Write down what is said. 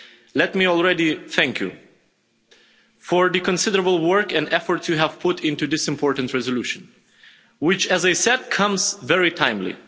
Let me already thank you for the considerable work and effort you have put into this important resolution which, as I said, comes very timely.